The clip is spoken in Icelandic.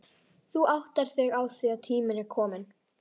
Þú áttar þig á því að tíminn er kominn